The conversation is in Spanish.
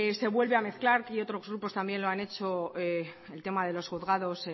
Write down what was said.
se vuelve a mezclar y otros grupos también lo han hecho el tema de los juzgados